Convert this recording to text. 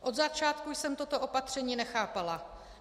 Od začátku jsem toto opatření nechápala.